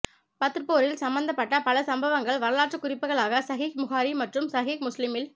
பத்ர் போரில் சம்பந்தப்பட்ட பல சம்பவங்கள் வரலாற்றுக் குறிப்புகளாக ஸஹீஹ் புகாரி மற்றும் ஸஹீஹ் முஸ்லிமில்